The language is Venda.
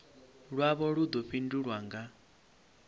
lwavho lu ḓo fhindulwa nga